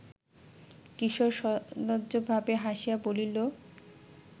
কিশোর সলজ্জভাবে হাসিয়া বলিল